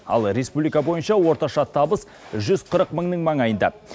ал республика бойынша орташа табыс жүз қырық мыңның маңайында